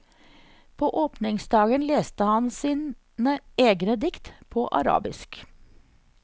På åpningsdagen leste han sine egne dikt, på arabisk.